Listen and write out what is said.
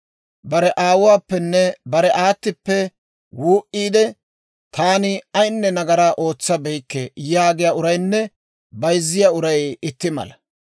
Bare aawuwaappenne bare aattippe wuu"iide, «Taani ayinne nagaraa ootsabeykke» yaagiyaa uraynne bayzziyaa uray itti mala.